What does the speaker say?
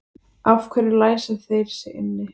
Af hverju læsa þeir sig inni?